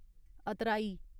अतराई